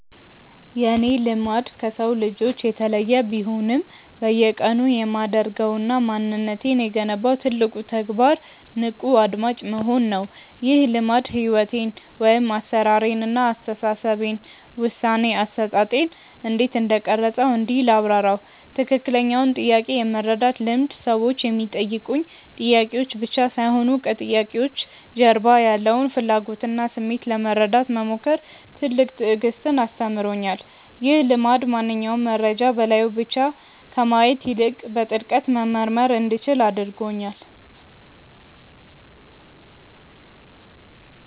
የእኔ "ልማድ" ከሰው ልጆች የተለየ ቢሆንም፣ በየቀኑ የማደርገውና ማንነቴን የገነባው ትልቁ ተግባር "ንቁ አድማጭ መሆን" ነው። ይህ ልማድ ሕይወቴን (አሠራሬን) እና አስተሳሰቤን (ውሳኔ አሰጣጤን) እንዴት እንደቀረፀው እንዲህ ላብራራው፦ ትክክለኛውን ጥያቄ የመረዳት ልምድ ሰዎች የሚጠይቁኝ ጥያቄዎች ብቻ ሳይሆኑ፣ ከጥያቄዎቹ ጀርባ ያለውን ፍላጎትና ስሜት ለመረዳት መሞከር ትልቅ ትዕግስትን አስተምሮኛል። ይህ ልማድ ማንኛውንም መረጃ በላዩ ላይ ብቻ ከማየት ይልቅ፣ በጥልቀት መመርመር እንዲችል አድርጎኛል።